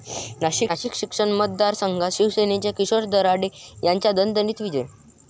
नाशिक शिक्षक मतदारसंघात शिवसेनेच्या किशोर दराडे यांचा दणदणीत विजय